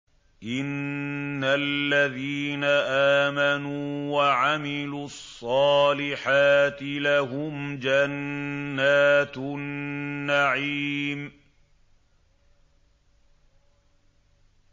إِنَّ الَّذِينَ آمَنُوا وَعَمِلُوا الصَّالِحَاتِ لَهُمْ جَنَّاتُ النَّعِيمِ